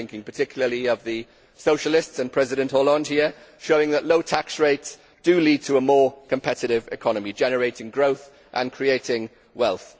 I am thinking particularly of the Socialists and President Hollande here, showing that low tax rates do lead to a more competitive economy generating growth and creating wealth.